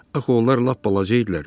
Axı onlar lap balaca idilər.